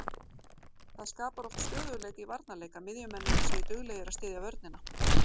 Það skapar oft stöðugleika í varnarleik að miðjumennirnir séu duglegir að styðja vörnina.